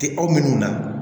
Tɛ aw minnu na